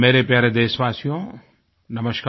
मेरे प्यारे देशवासियो नमस्कार